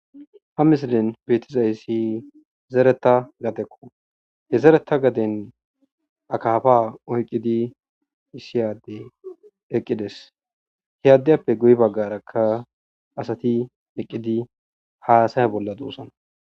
Ha missilen bethizayssi zeretha gadekko. He zeretha gadeni akaffa oyqidi issi adde eqidess. He addayppe guyye bagarakka assathi eqidi hassay bolla dossona.